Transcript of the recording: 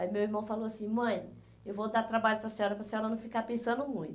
Aí meu irmão falou assim, mãe, eu vou dar trabalho para a senhora, para a senhora não ficar pensando muito.